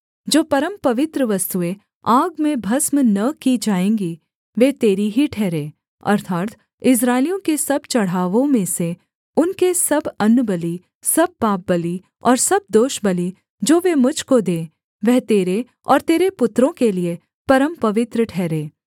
जो परमपवित्र वस्तुएँ आग में भस्म न की जाएँगी वे तेरी ही ठहरें अर्थात् इस्राएलियों के सब चढ़ावों में से उनके सब अन्नबलि सब पापबलि और सब दोषबलि जो वे मुझ को दें वह तेरे और तेरे पुत्रों के लिये परमपवित्र ठहरें